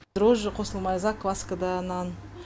дрожь қосылмай закваскада нан